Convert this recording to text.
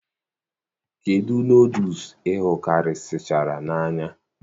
kedụ nodles ihukarichara n'anya